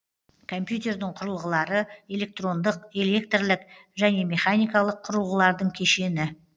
компьютердің құрылғылары электрондық электрлік және механикалық құрылғылардың кешені